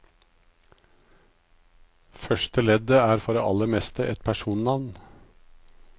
Første leddet er for det aller meste et personnavn.